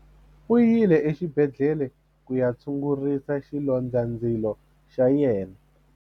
U yile exibedhlele ku ya tshungurisa xilondzandzilo xa yena.